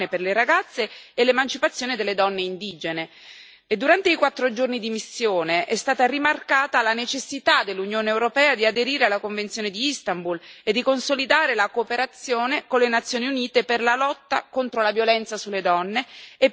Durante i quattro giorni di missione è stata rimarcata la necessità per l'Unione europea di aderire alla convenzione di Istanbul e di consolidare la cooperazione con le Nazioni Unite per la lotta contro la violenza sulle donne e per il raggiungimento della parità di trattamento tra uomini e donne.